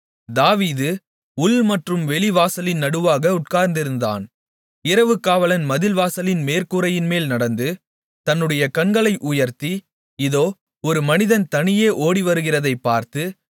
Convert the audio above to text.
தாவீது உள் மற்றும் வெளி வாசலின் நடுவாக உட்கார்ந்திருந்தான் இரவு காவலன் மதில் வாசலின் மேற்கூரையின்மேல் நடந்து தன்னுடைய கண்களை உயர்த்தி இதோ ஒரு மனிதன் தனியே ஓடிவருகிறதைப் பார்த்து